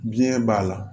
Biɲɛ b'a la